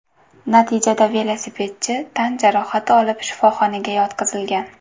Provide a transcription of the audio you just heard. Natijada velosipedchi tan jarohati olib shifoxonaga yotqizilgan.